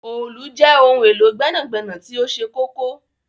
Òòlù jẹ ohun elo gbẹnagbẹna ti oṣẹ kọkọ.